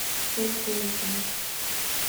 цинтунся